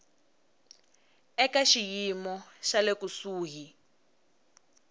eka xiyimo xa le kusuhi